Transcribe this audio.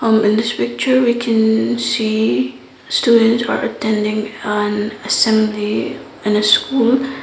in this picture we can see students are attending an assembly in school.